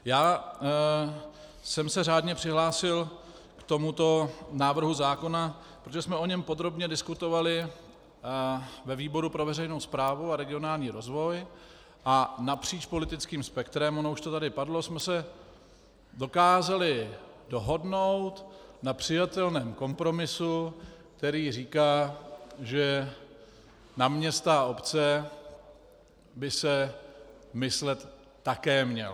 Já jsem se řádně přihlásil k tomuto návrhu zákona, protože jsme o něm podrobně diskutovali ve výboru pro veřejnou správu a regionální rozvoj a napříč politickým spektrem, ono už to tady padlo, jsme se dokázali dohodnout na přijatelném kompromisu, který říká, že na města a obce by se myslet také mělo.